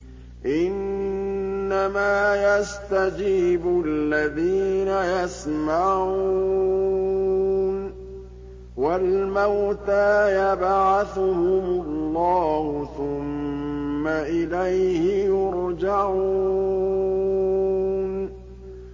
۞ إِنَّمَا يَسْتَجِيبُ الَّذِينَ يَسْمَعُونَ ۘ وَالْمَوْتَىٰ يَبْعَثُهُمُ اللَّهُ ثُمَّ إِلَيْهِ يُرْجَعُونَ